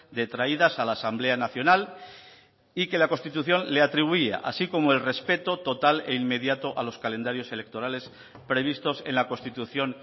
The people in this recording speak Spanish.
detraídas a la asamblea nacional y que la constitución le atribuya así como el respeto total e inmediato a los calendarios electorales previstos en la constitución